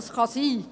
das kann sein.